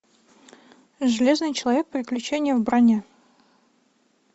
железный человек приключение в броне